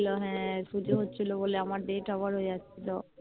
হ্যাঁ পুজো হচ্ছিলো বলে আমার Date Over হয়ে যাচ্ছিলো